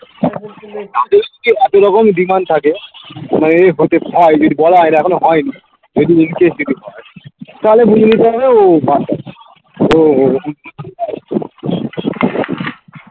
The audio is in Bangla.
একই রকম demand থাকে মানে এই হতে পাই যদি বলা হয়নি এখনো হয়নি একটু interest যদি হয় তাহলে বুঝে নিতে হবে ও ও ও